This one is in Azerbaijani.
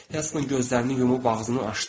Helston gözlərini yumub ağzını açdı.